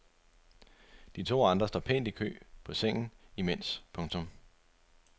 De to andre står pænt i kø på sengen imens. punktum